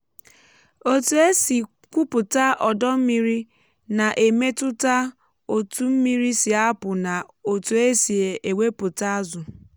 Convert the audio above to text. etu e si kwụpụta ọdọ mmiri na-emetụta otu mmiri si apụ na otú e si ewepụta azụ.